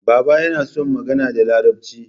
Baba yana son magana da larabci